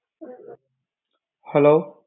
hello